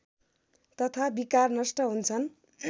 तथा विकार नष्ट हुन्छन्